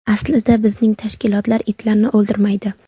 Aslida bizning tashkilot itlarni o‘ldirmaydi.